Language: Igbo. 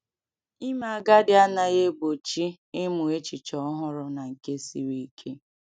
Ime agadi anaghị egbochi ịmụ echiche ọhụrụ na nke siri ike.